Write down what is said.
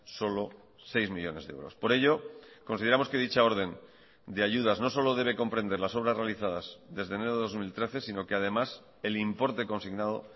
solo seis millónes de euros por ello consideramos que dicha orden de ayudas no solo debe comprender las obras realizadas desde enero de dos mil trece sino que además el importe consignado